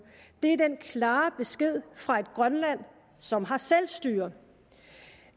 det er den klare besked fra et grønland som har selvstyre